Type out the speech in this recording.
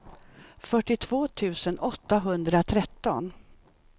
fyrtiotvå tusen åttahundratretton